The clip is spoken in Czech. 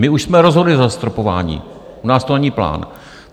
My už jsme rozhodli o zastropování, u nás to není plán.